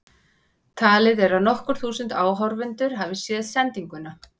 Talið er að nokkur þúsund áhorfendur hafi séð sendinguna.